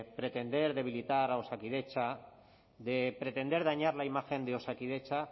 pretender debilitar a osakidetza de pretender dañar la imagen de osakidetza